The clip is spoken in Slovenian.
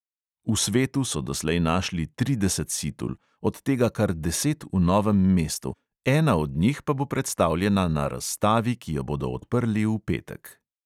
V svetu so doslej našli trideset situl, od tega kar deset v novem mestu, ena od njih pa bo predstavljena na razstavi, ki jo bodo odprli v petek.